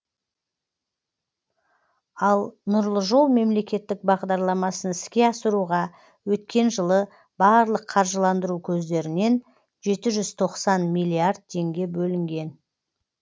ал нұрлы жол мемлекеттік бағдарламасын іске асыруға өткен жылы барлық қаржыландыру көздерінен жеті жүз тоқсан миллиард теңге бөлінген